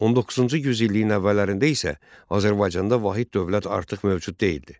19-cu yüzilliyin əvvəllərində isə Azərbaycanda vahid dövlət artıq mövcud deyildi.